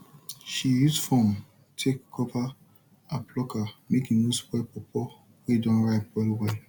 she use form take cover her plucker make e no spoil powpow wey don rip wellwell